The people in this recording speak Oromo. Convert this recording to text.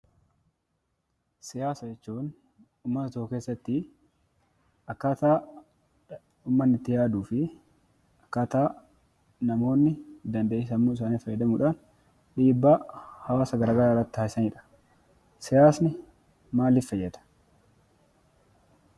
Siyaasa jechuun uummata tokko keessatti akkaataa uummanni itti yaaduu fi akkaataa namoonni dandeettii sammuu isaanii fayyadamuudhaan dhiibbaa hawaasa garaa garaa irratti taasisanidha. Siyaasni maaliif fayyada?